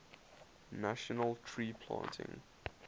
national tree planting